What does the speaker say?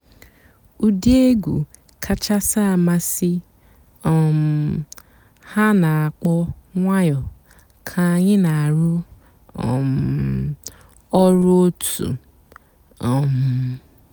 ụ́dị́ ègwú kàchàsị́ àmásị́ um há nà-àkpọ́ ǹwànyọ́ kà ànyị́ nà-àrụ́ um ọ̀rụ́ ótú. um